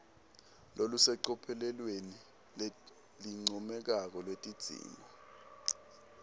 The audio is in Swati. lolusecophelweni lelincomekako lwetidzingo